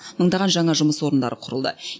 мыңдаған жаңа жұмыс орындары құрылды